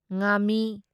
ꯉꯥꯥꯃꯤ